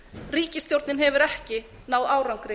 ríkisstjórnin hefur ekki náð árangri